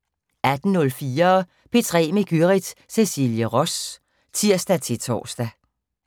18:04: P3 med Gyrith Cecilie Ross (tir-tor)